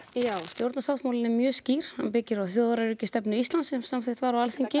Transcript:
já stjórnarsáttmálinn er mjög skýr hann byggir á þjóðaröryggisstefnu Íslands sem samþykkt var á Alþingi